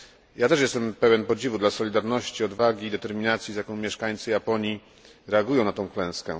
Ja też jestem pełen podziwu dla solidarności, odwagi, determinacji, z jaką mieszkańcy Japonii reagują na tę klęskę.